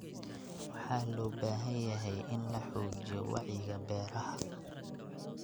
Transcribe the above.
Waxa loo baahan yahay in la xoojiyo wacyiga beeraha.